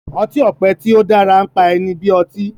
ọti-ọpẹ tí o dára npá ẹni bí ọtí